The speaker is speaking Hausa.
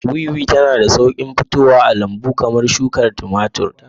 Wiwi tana da sauƙin fitowa a lambu kamar shukar tumatir.